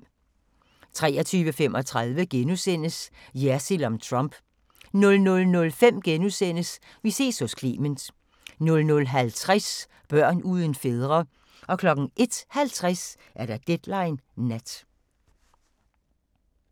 23:35: Jersild om Trump * 00:05: Vi ses hos Clement * 00:50: Børn uden fædre 01:50: Deadline Nat